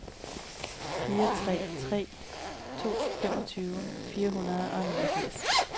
fire tre tre to femogtyve fire hundrede og niogfirs